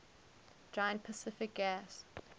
giant pacific gas